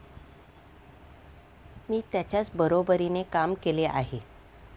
मी त्यांच्याच बरोबरीने काम केले आहे.